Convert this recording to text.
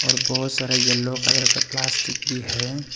और बहुत सारा येल्लो कलर का प्लास्टिक भी है।